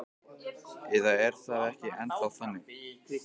Eða er það ekki ennþá þannig?